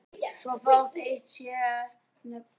Svo fátt eitt sé nefnt.